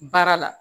Baara la